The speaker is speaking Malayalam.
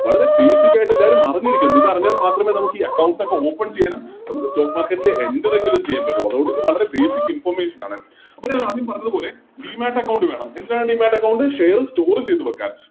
വളരെ Basic ആയിട്ടെല്ലാരും അറിഞ്ഞിരിക്ക ഇതറിഞ്ഞാൽ മാത്രമേ നമുക്കി Accounts ഒക്കെ Open ചെയ്യാനും നമുക്ക് Stock market ല് Enter എങ്കിലും ചെയ്യാൻ പറ്റുള്ളൂ അതുകൊണ്ടിതുവളരെ Basic information ആണ് അപ്പോൾ ഞാനാദ്യം പറഞ്ഞത് പോലെ Demat account വേണം എന്തിനാണ് Demat account ചെയ്ത വെക്കാൻ